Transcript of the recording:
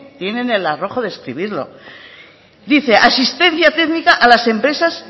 tienen el arrojo de escribirlo dice asistencia técnica a las empresas